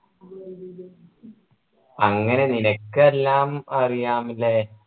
അങ്ങനെ നിനക്ക് എല്ലാം അറിയാം ഇല്ലേ